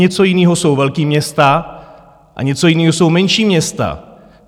Něco jiného jsou velká města a něco jiného jsou menší města.